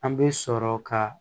An bɛ sɔrɔ ka